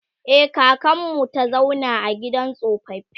e kakanmu ta zauna a gidan tsofaffi